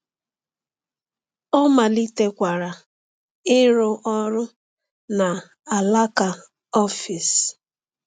Ọ malitekwara ịrụ ọrụ na alaka ọfịs.